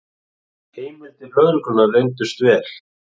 Heimildir lögreglunnar reyndust vel